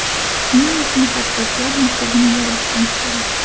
Shuning uchun xattotlar maktabini yaratishimiz kerak.